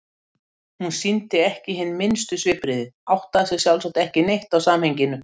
Hún sýndi ekki hin minnstu svipbrigði, áttaði sig sjálfsagt ekki neitt á samhenginu.